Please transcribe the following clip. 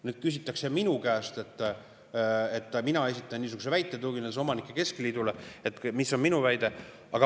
Nüüd küsitakse minu käest – mina esitan niisuguse väite, tuginedes omanike keskliidule –, mis on minu väide.